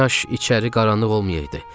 Kaş içəri qaranlıq olmayaydı.